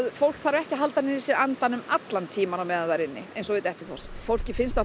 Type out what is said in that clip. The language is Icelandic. fólk þarf ekki að halda niðri í sér andanum allan tímann á meðan það er inni eins og við Dettifoss fólki finnst